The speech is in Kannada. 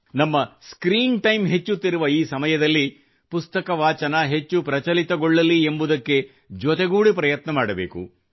ನಮ್ಮ ಸ್ಕ್ರೀನ್ ಟೈಂ ಹೆಚ್ಚುತ್ತಿರುವಂಥ ಈ ಸಮಯದಲ್ಲಿ ಪುಸ್ತಕ ವಾಚನ ಹೆಚ್ಚು ಪ್ರಚಲಿತಗೊಳ್ಳಲಿ ಎಂಬುದಕ್ಕೆ ಜೊತೆಗೂಡಿ ಪ್ರಯತ್ನ ಮಾಡಬೇಕು